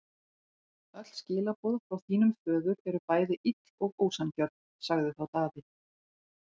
Öll skilaboð frá þínum föður eru bæði ill og ósanngjörn, sagði þá Daði.